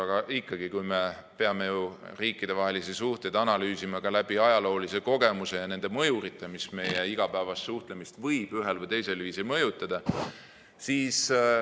Aga ikkagi, me peame ju riikidevahelisi suhteid analüüsima ka läbi ajaloolise kogemuse ja nende mõjurite, mis meie igapäevast suhtlemist võivad ühel või teisel viisil mõjutada.